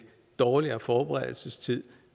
dårligere forberedelsestid